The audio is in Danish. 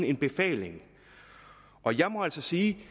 en befaling og jeg må altså sige